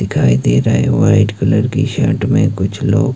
दिखाई दे रहा है व्हाइट कलर की शर्ट में कुछ लोग--